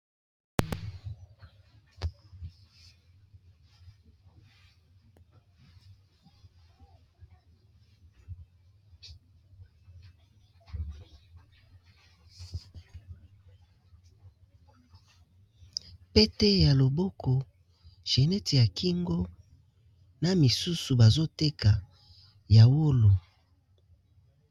pete ya loboko genete ya kingo na misusu bazoteka yawolo